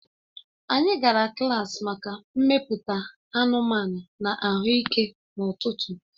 Anyị gara klaasị maka mmepụta anụmanụ na ahụike n'ụtụtụ